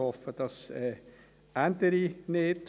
Ich hoffe, das ändere nicht.